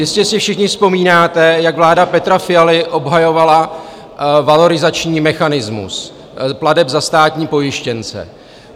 Jistě si všichni vzpomínáte, jak vláda Petra Fialy obhajovala valorizační mechanismus plateb za státní pojištěnce.